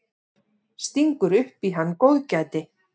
Stingur upp í hann góðgæti.